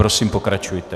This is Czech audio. Prosím, pokračujte.